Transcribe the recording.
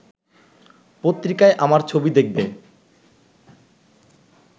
পত্রিকায় আমার ছবি দেখবে